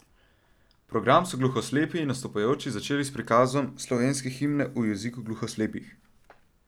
Program so gluhoslepi nastopajoči začeli s prikazom slovenske himne v jeziku gluhoslepih.